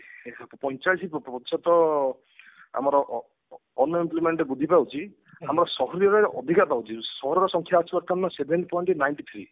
ପଇଁଚାଳିଶି ପ୍ରତିଶତ ଆମର ଅ unemployment ବୃଦ୍ଧି ପାଉଛି ଆମର ସହରରେ ଅଧିକା ପାଉଛି ସହର ର ସଂଖ୍ୟା ଅଛି ବର୍ତମାନ seven point ninety three